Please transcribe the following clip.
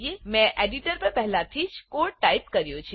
મેં એડિટર પર પહેલેથી જ કોડ ટાઈપ કર્યો છે